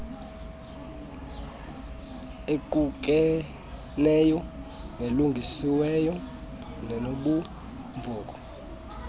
equkeneyo elungisiweyo nenobumvoco